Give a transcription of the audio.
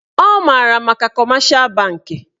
Ọ maara maka kọmeshal bankị